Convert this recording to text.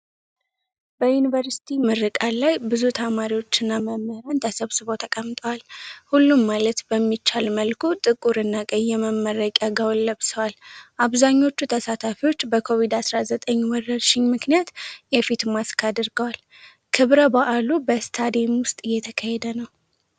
በዩኒቨርሲቲ ምረቃ ላይ ብዙ ተማሪዎችና መምህራን ተሰብስበው ተቀምጠዋል። ሁሉም ማለት በሚቻል መልኩ ጥቁር እና ቀይ የመመረቂያ ጋውን ለብሰዋል። አብዛኞቹ ተሳታፊዎች በኮቪድ-19 ወረርሽኝ ምክንያት የፊት ማስክ አድርገዋል። ክብረ በዓሉ በስታዲየም ውስጥ እየተካሄደ ነው።